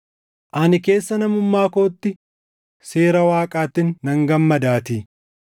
Ani keessa namummaa kootti seera Waaqaattin nan gammadaatii;